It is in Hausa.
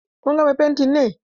Kun gama fentin ne?